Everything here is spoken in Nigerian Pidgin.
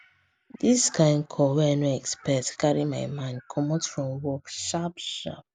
this kind call wey i no expect carry my mind comot from work sharp sharp